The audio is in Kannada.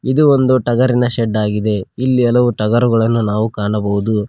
ಇದು ಒಂದು ಟಗರಿನ ಶೆಡ್ ಆಗಿದೆ ಇಲ್ಲಿ ಹಲವು ಟಗರುಗಳನ್ನು ನಾವು ಕಾಣಬಹುದು.